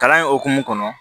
Kalan in hokumu kɔnɔ